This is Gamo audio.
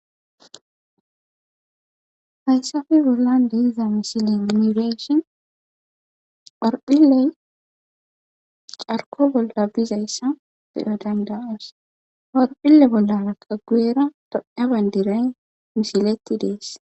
Hayssafi bollan deiza misilin mireshin phorphiley carko bolla bizayssa fidho dandawoos phorphille bollaa qa guyera doa bandiray misiletti dees.